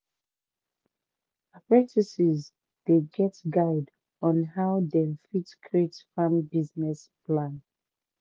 apprentices dey get guide on how dem fit create farm business plan